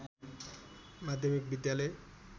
माध्यमिक विद्यालय